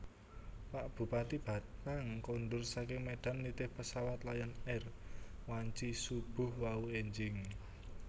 Pak Bupati Batang kondur saking Medan nitih pesawat Lion Air wanci subuh wau enjing